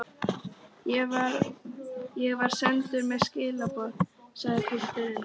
Ég var sendur með skilaboð, sagði pilturinn.